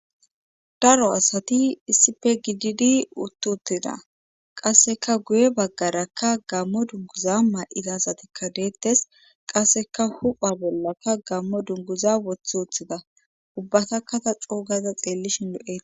daro asati issife gididi uttuttida qasseka guye baggarakka gammo dunguza maa7ida asatikka deettes qasseka hupha bollaka gammo dunguza woththi uthida ubbatakkata coogaza xeellishin lo'etes